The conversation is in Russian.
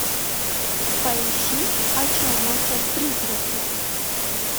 поищи о чем молчат призраки